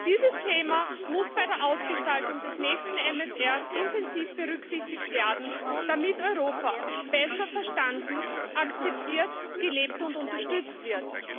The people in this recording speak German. Dieses Thema muss bei der Ausgestaltung des nächsten MRF intensiv berücksichtigt werden, damit Europa besser verstanden, akzeptiert, gelebt und unterstützt wird.